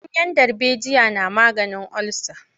Ganyen darbejiya na maganin olsa.